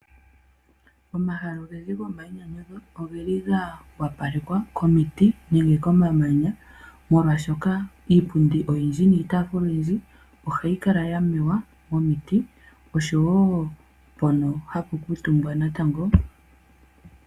Omahala ogendji gomainyanyudho ogeli ga wapalekwa komiti nenge komamanya, molwashoka iipundi oyindji niitaafula oyindji ohayi kala ya mewa momiti. Oshowo mpono hapu kuutumbwa natango.